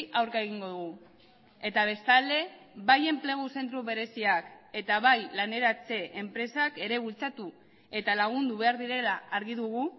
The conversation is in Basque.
aurka egingo dugu eta bestalde bai enplegu zentro bereziak eta bai laneratze enpresak ere bultzatu eta lagundu behar direla argi dugu